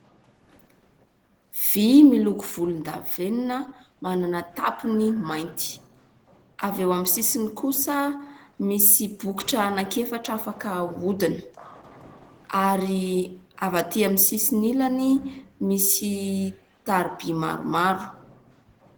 Vy miloko volondavenona, manana tapiny mainty. Avy eo amin'ny sisiny kosa misy bokotra anaky efatra afaka ahodina, ary avy atỳ amin'ny sisiny ilany misy tariby maromaro.